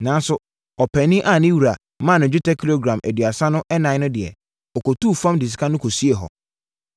Nanso, ɔpaani a ne wura maa no dwetɛ kilogram aduasa ɛnan no deɛ, ɔkɔtuu fam de sika no siee hɔ.